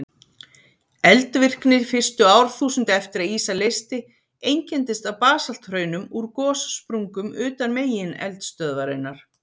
Eldvirkni fyrstu árþúsund eftir að ísa leysti einkenndist af basalthraunum úr gossprungum utan megineldstöðvarinnar.